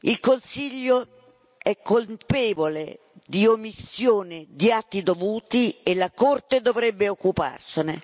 Il Consiglio è colpevole di omissione di atti dovuti e la Corte dovrebbe occuparsene.